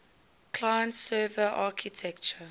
client server architecture